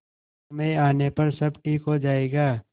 समय आने पर सब ठीक हो जाएगा